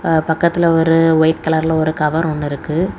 ஆ பக்கத்துல ஒரு ஒயிட் கலர்ல ஒரு கவர் ஒன்னு இருக்கு.